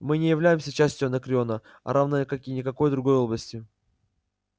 мы не являемся частью анакреона а равно как и никакой другой области